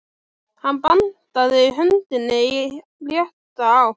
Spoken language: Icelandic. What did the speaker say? Hann bandaði höndinni í rétta átt.